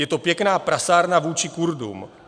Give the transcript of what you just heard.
Je to pěkná prasárna vůči Kurdům.